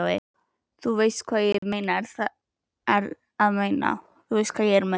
Þú veist hvað ég er að meina.